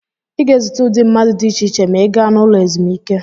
Ị ga-ezute ụdị mmadụ dị iche iche ma ị gaa n'ụlọ ezumike.